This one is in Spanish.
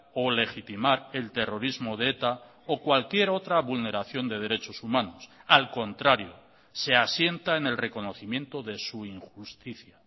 o legitimar el terrorismo de eta o cualquier otra vulneración de derechos humanos al contrario se asienta en el reconocimiento de su injusticia